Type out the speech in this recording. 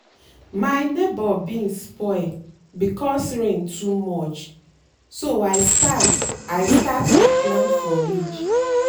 my neighbour beans spoil because rain too much so i start i start to plant for ridge.